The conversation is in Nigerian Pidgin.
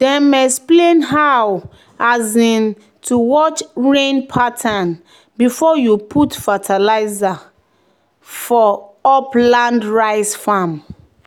"dem explain how um to watch rain pattern before you put fertilizer for put fertilizer for upland rice farm."